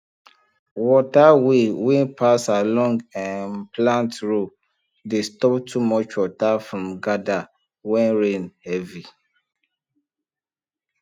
water way wey pass along um plant row dey stop too much water from gather when rain heavy